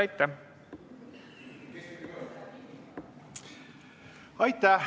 Aitäh!